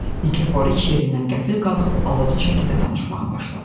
Nikiforiç yerindən qəfil qalxıb alovlu şəkildə danışmağa başladı.